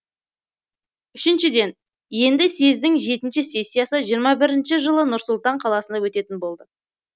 үшіншіден енді съездің жетінші сессиясы жиырма бірінші жылы нұр сұлтан қаласында өтетін болды